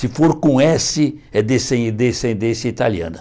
Se for com ésse é descen decendência italiana.